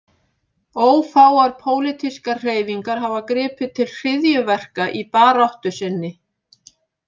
Ófáar pólitískar hreyfingar hafa gripið til hryðjuverka í baráttu sinni.